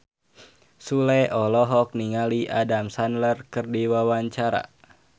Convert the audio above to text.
Sule olohok ningali Adam Sandler keur diwawancara